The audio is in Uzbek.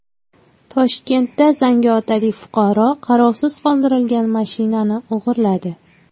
Toshkentda zangiotalik fuqaro qarovsiz qoldirilgan mashinani o‘g‘irladi.